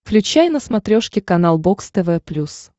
включай на смотрешке канал бокс тв плюс